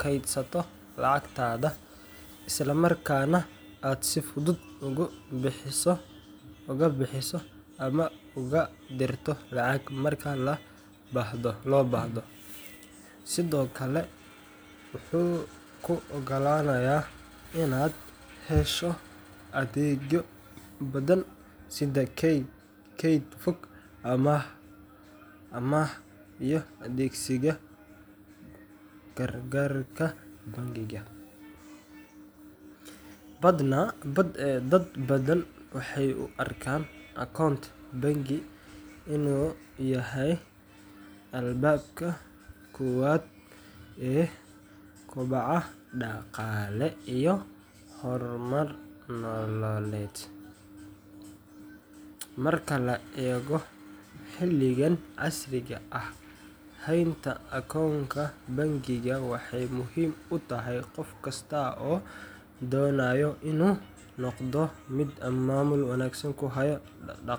kaydsato lacagtaada, isla markaana aad si fudud uga bixiso ama uga dirto lacag marka loo baahdo. Sidoo kale, wuxuu kuu oggolaanayaa inaad hesho adeegyo badan sida keyd fog, amaah, iyo adeegsiga kaararka bangiga. Dad badan waxay u arkaan akoont bangi inuu yahay albaabka koowaad ee koboca dhaqaale iyo horumar nololeed. Marka la eego xilligan casriga ah, haynta akoont bangi waxay muhiim u tahay qof kasta oo doonaya inuu noqdo mid maamul wanaagsan ku haya dhaqal.